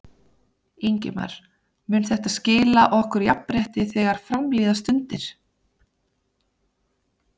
Ingimar: Mun þetta skila okkur jafnrétti þegar fram líða stundir?